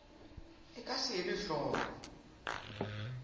e ka se elwe hloko